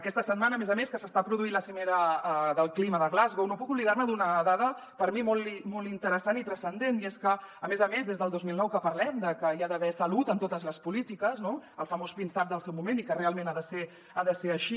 aquesta setmana a més a més que s’està produint la cimera del clima de glasgow no puc oblidar me d’una dada per mi molt interessant i transcendent i és que a més a més des del dos mil nou que parlem de que hi ha d’haver salut en totes les polítiques no el famós pinsap del seu moment i que realment ha de ser així